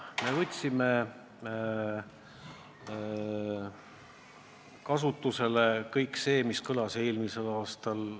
Me võtsime kasutusele kõik selle, mis kõlas eelmisel aastal.